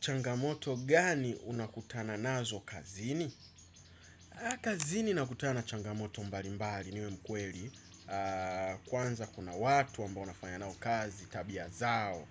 Changamoto gani unakutana nazo kazini? Kazini nakutana changamoto mbali mbali niwe mkweli. Kwanza kuna watu ambao nafanya nao kazi tabia zao.